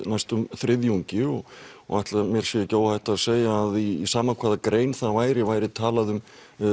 næstum þriðjungi og og ætli mér sé ekki óhætt að segja að í sama hvaða grein það væri væri talað um